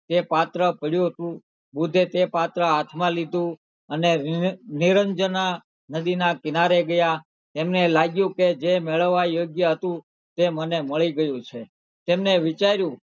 તે પાત્ર પડ્યું હતું બુદ્ધે તે પાત્ર હાથમાં લીધું અને નિરંજનાં નદીનાં કિનારે ગયાં તેમને લાગ્યું કે જે મેળવવા યોગ્ય હતું તે મને મળી ગયું છે તેમને વિચાર્યું,